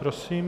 Prosím.